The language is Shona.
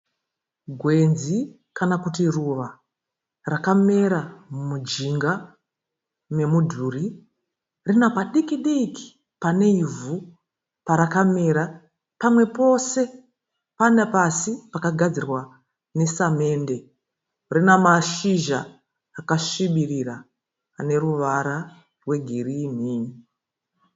Gwenzi kana kuti ruva rakamera mujinga memudhuri rina padiki diki pane ivhu parakamera pamwe pose pana pasi pakagadzirwa nesamende rina mashizha akasvibirira ane ruvara rwegirini.